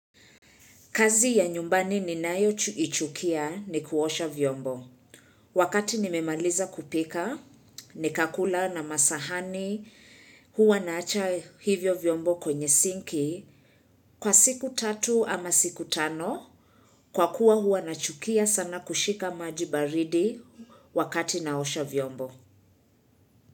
Kazi ya nyumbani ninayoichukia ni kuosha vyombo. Wakati nimemaliza kupika, nikakula na masahani, huwa naacha hivyo vyombo kwenye sinki. Kwa siku tatu ama siku tano, kwa kuwa huwa na chukia sana kushika maji baridi wakati naosha vyombo.